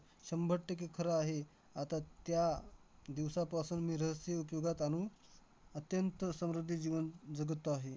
शंभर टक्के खरं आहे. आता त्या दिवसापासून मी रहस्य युट्युबला ताणू अत्यंत समृद्धी जीवन जगत आहे.